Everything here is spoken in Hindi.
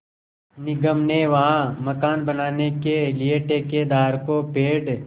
निगम ने वहाँ मकान बनाने के लिए ठेकेदार को पेड़